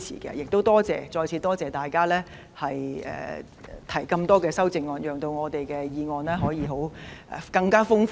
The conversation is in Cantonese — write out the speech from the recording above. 我亦再次多謝大家提出這些修正案，讓我們的議案辯論內容更豐富。